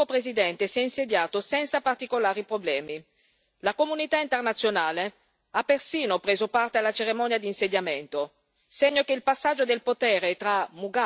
La comunità internazionale ha persino preso parte alla cerimonia di insediamento, segno che il passaggio del potere tra Mugabe e il suo ex vice ha trovato gradimento.